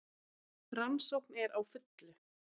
Rannsókn er á fullu